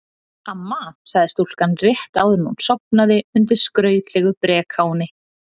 Amma, sagði stúlkan rétt áður en hún sofnaði undir skrautlegu brekáni.